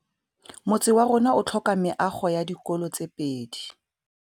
Motse warona o tlhoka meago ya dikolô tse pedi.